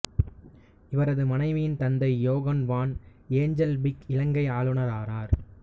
இவரது மனைவியின் தந்தை யோகான் வான் ஏஞ்சல்பீக் இலங்கை ஆளுனரானார்